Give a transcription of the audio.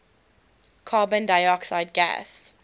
carbon dioxide gas